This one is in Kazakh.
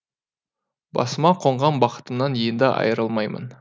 басыма қонған бақытымнан енді айырылмаймын